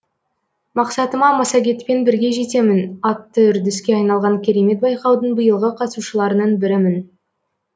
мақсатыма массагетпен бірге жетемін атты үрдіске айналған керемет байқаудың биылғы қатысушыларының бірімін